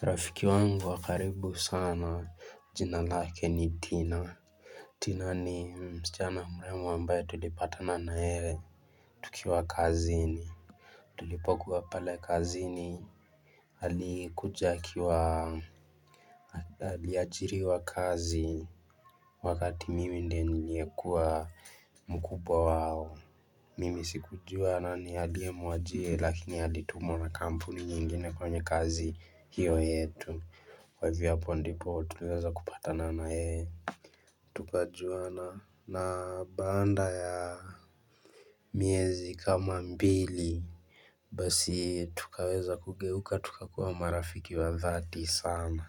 Rafiki wangu wakaribu sana, jina lake ni Tina. Tina ni mschana mrembo ambaye tulipata nayeye, tukiwa kazini. Tulipokuwa pale kazini, alikuja akiwa, aliajiriwa kazi, wakati mimi ndie niliekuwa mkubwa wao. Mimi sikujua nani alie muajie, lakini alitumwa na kampuni nyingine kwenye kazi hio yetu. Kwa hivyo hapo ndipo tuliweza kupata nana yee Tukajuana na baanda ya miezi kama mbili Basi tukaweza kugeuka tukakuwa marafiki wa dhati sana